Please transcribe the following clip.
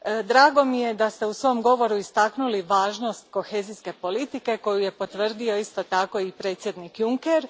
Drago mi je da ste u svom govoru istaknuli važnost kohezijske politike koju je potvrdio i predsjednik Juncker.